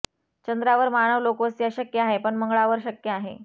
चंद्रावर मानव लोकवस्ती अशक्य आहे पण मंगळावर शक्य आहे